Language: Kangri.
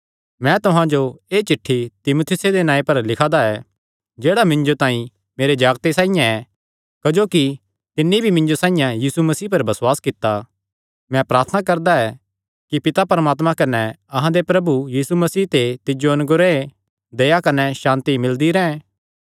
मैं तुहां जो एह़ चिठ्ठी तीमुथियुसे दे नांऐ पर लिखा दा ऐ जेह्ड़ा मिन्जो तांई मेरे जागते साइआं ऐ क्जोकि तिन्नी भी मिन्जो साइआं यीशु मसीह पर बसुआस कित्ता मैं प्रार्थना करदा ऐ कि पिता परमात्मे कने अहां दे प्रभु यीशु मसीह ते तिज्जो अनुग्रह दया कने सांति मिलदी रैंह्